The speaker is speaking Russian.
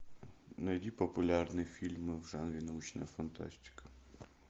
найди популярные фильмы в жанре научная фантастика